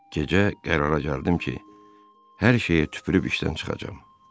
Gecə qərara gəldim ki, hər şeyə tüpürüb işdən çıxacam.